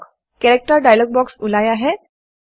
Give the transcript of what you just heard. character character dialog box ওলাই আহে